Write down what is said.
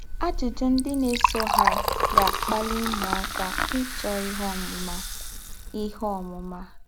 Àjụ́jụ́ ndí́ nà-èsọ̀ há gà-àkpalì ứmụ́áká ịchọ́ íhè ǒmụ́má. íhè ǒmụ́má.